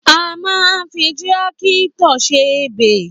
À mà ń fí tírákítọ̀ sẹ ẹbẹ